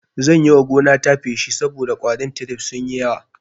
Zan yiwa gonata feshi saboda ƙwarin tirif sunyi yawa